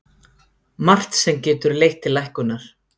Margt sem getur leitt til lækkunar